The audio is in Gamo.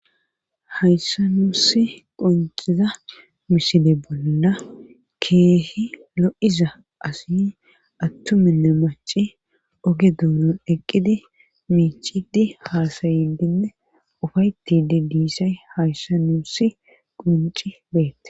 hayssa nuusi qonciza misile bolla keehi lo'iza asi attuminne maci oge duunon eqqidi miicidi haasaydinne ufaytidi diisay hayssa nuusi qonci beettes